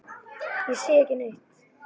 Ég sé ekki neitt.